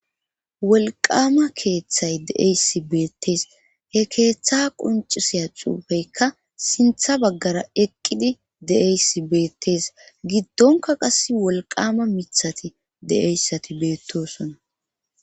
wolqama keeththay deeysi beettees he keeththa qoncisiya xuufeykka sintha baggara eqqidi de7eysi beettes giddonka qas wolqama mithati de7eyssati beettosona